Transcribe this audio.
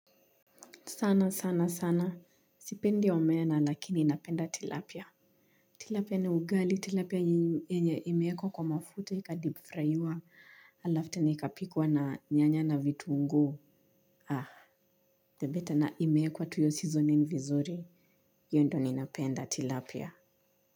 Sana, sana, sana. Sipendi omena lakini ninapenda tilapia. Tilapia na ugali. Tilapia yenye imeekwa kwa mafuta ikadipfrayiwa alafu tena ikapikwa na nyanya na vituungu. The better na imeekwa tu hiyo seasoning vizuri. Hiyo ndio ninapenda tilapia.